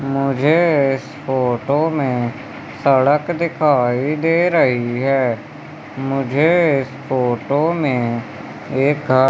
मुझे इस फोटो में सड़क दिखाई दे रही है। मुझे इस फोटो में एक गा--